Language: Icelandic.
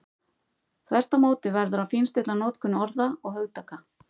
Þvert á móti verður að fínstilla notkun orða og hugtaka.